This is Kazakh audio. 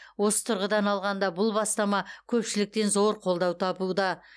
осы тұрғыдан алғанда бұл бастама көпшіліктен зор қолдау табуда